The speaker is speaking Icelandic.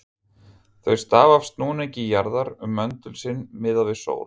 Þau stafa af snúningi jarðar um möndul sinn, miðað við sól.